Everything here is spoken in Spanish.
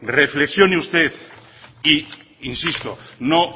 reflexione usted e insisto no